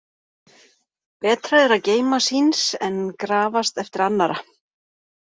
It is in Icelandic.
Betra er að geyma síns en grafast eftir annarra.